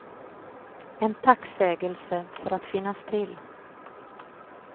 En tacksägelse för att finnas till.